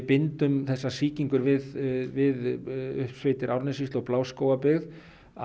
bindum þessa sýkingu við við uppsveitir Árnessýslu og Bláskógabyggð